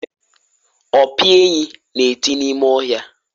opi enyí na-eti n’ime ọhịa